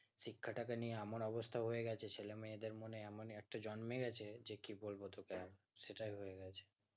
শিক্ষা তাকে নিয়ে এমন অবস্থা হয়ে গেছে ছেলে মেয়েদের মনে এমনি একটা জন্মে গেছে যে কি বলবো তোকে আর সেটাই হয়েগেছে